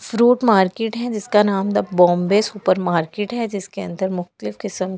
Fruit market है जिसका नाम बॉम्बे सुपर मार्केट है जिसके अंदर मुख्तलिफ किस्म।